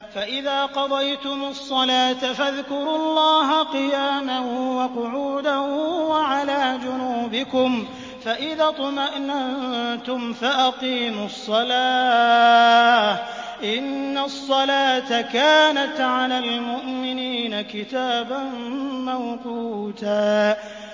فَإِذَا قَضَيْتُمُ الصَّلَاةَ فَاذْكُرُوا اللَّهَ قِيَامًا وَقُعُودًا وَعَلَىٰ جُنُوبِكُمْ ۚ فَإِذَا اطْمَأْنَنتُمْ فَأَقِيمُوا الصَّلَاةَ ۚ إِنَّ الصَّلَاةَ كَانَتْ عَلَى الْمُؤْمِنِينَ كِتَابًا مَّوْقُوتًا